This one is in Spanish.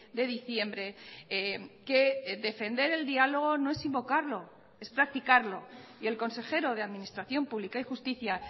de diciembre que defender el diálogo no es invocarlo es practicarlo y el consejero de administración pública y justicia